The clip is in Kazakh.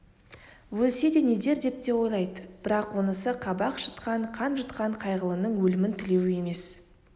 өлсе де нетер деп те ойлады бірақ онысы қабақ шытқан қан жұтқан қайғылының өлімін тілеуі емес